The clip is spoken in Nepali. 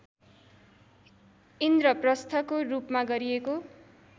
इन्द्रप्रस्थको रूपमा गरिएको